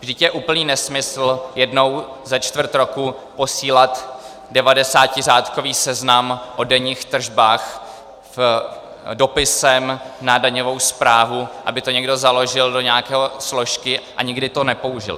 Vždyť je úplný nesmysl jednou za čtvrt roku posílat devadesátiřádkový seznam o denních tržbách dopisem na daňovou správu, aby to někdo založil do nějaké složky a nikdy to nepoužil.